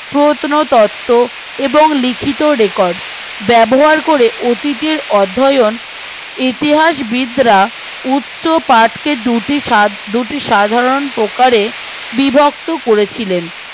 প্রত্নতত্ত্ব এবং লিখিত রেকর্ড ব্যবহার করে অতীতের অবেহন ইতিহাসবিদরা উৎস পাটকে দুটি দুটি সাধারণ প্রকারে বিভক্ত করেছিলেন